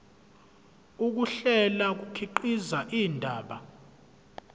ukuhlela kukhiqiza indaba